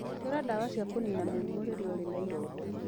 Hũthĩra ndawa cia kũniina mĩrimũ rĩrĩa ũrĩ na ironda.